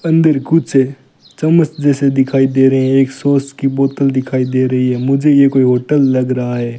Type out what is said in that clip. अंदर कुछ चम्मच जैसे दिखाई दे रही है एक सॉस की बॉटल दिखाई दे रही है मुझे ये कोई होटल लग रहा है।